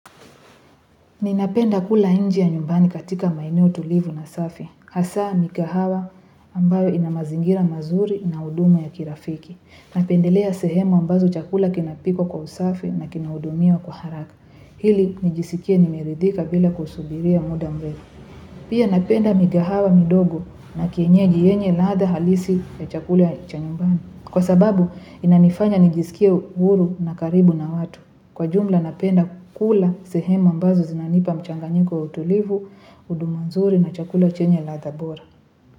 Ninapenda kula nje ya nyumbani katika maeneo tulivu na safi. Hasa, mikahawa ambayo ina mazingira mazuri na huduma ya kirafiki. Napendelea sehemu ambazo chakula kinapikwa kwa usafi na kinahudumiwa kwa haraka ili, nijisikie nimeridhika bila kusubiria muda mrefu. Pia napenda mikahawa midogo na kienyeji yenye ladha halisi ya chakula ya cha nyumbani. Kwa sababu, inanifanya nijisikie huru na karibu na watu. Kwa jumla napenda kula sehemu ambazo zinanipa mchanganyiko wa utulivu, huduma nzuri na chakula chenye ladha bora.